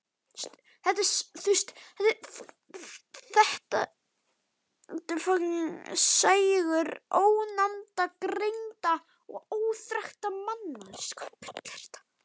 Þetta er sægur ónafngreindra og óþekktra manna.